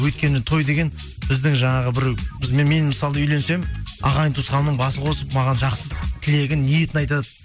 өйткені той деген біздің жаңағы біреу мен мысалы үйленсем ағайын туысқанның басы қосып маған жақсы тілегін ниетін айтады